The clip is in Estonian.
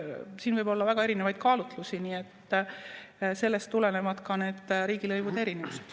Siin võib olla väga erinevaid kaalutlusi, nii et sellest tulenevad ka need riigilõivude erinevused.